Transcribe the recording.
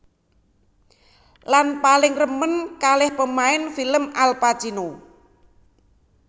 Lan paling remen kalih pemain film Al Pacino